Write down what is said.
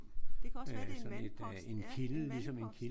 Det kan også være det er en vandpost. Ja en vandpost